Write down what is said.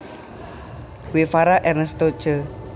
Guevara Ernesto Che